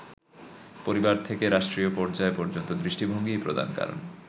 পরিবার থেকে রাষ্ট্রীয় পর্যায় পর্যন্ত দৃষ্টিভঙ্গিই প্রধান কারণ।